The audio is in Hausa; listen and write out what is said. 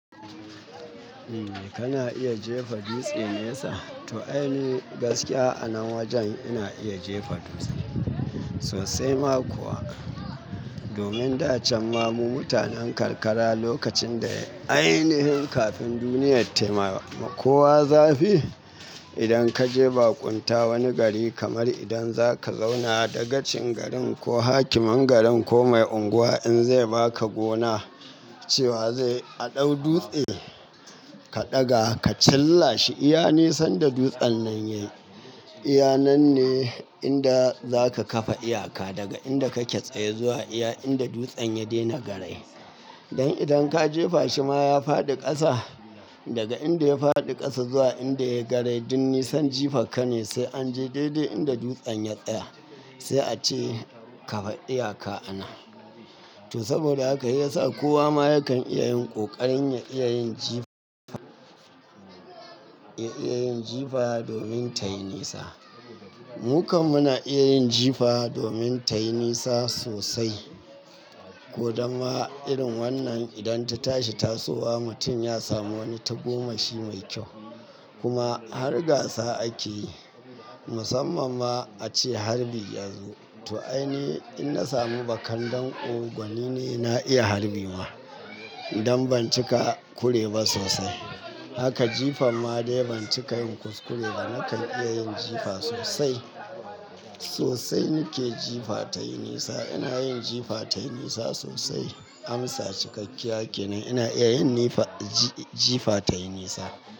Kana iya jefa dutse nesa? To ai ni gaskiya, a nan wajen ina iya jefa dutse sosai ma kuwa. Domin da can ma mu mutanen karkara lokacin da ai nihin kafin duniyar tama kowa zafi, idan ka je baƙunta wani gari kamar idan za ka zauna dagacin garin ko hakimin garin ko mai unguwa in zai ba ka gona cewa zai a ɗau dutse, ka ɗaga ka chilla shi iya nisan da dutsen nan yayi, iya nan ne inda za ka kafa iyaka daga inda kake tsaye zuwa iya inda dutsen ya daina garai. Don idan ka jefa shi ma ya faɗi ƙasa daga inda ya faɗi ƙasa zuwa inda yayi garai duk nisan jifarka ne sai an je daidai inda dutsen ya tsaya sai a ce ka ga iyaka anan. To saboda haka shiyasa kowa ma yakan iya yin ƙoƙarin ya iya yin jifa, ya iya yin jifa domin tayi nisa. Mu kam muna iya yin jifa domin tayi nisa sosai. Ko dan ma irin wannan idan ta tashi tasowa mutum ya samu wani tagomashi mai kyau. Kuma har gasa ake yi, musamman ma a ce harbi yazo. To ai ne in na samu bakan danƙo, domin ni na iya harbi ma don banci ka kure ba sosai. Haka jifa ma dai banci ka yin kuskure ba nakan iya yin jifa sosai. Sosai nake jifa tayi nisa. Ina yin jifa tayi nisa sosai. Amsa cikakkiya kenan. Ina iya yin nifa, ji, jifa tayi nisa.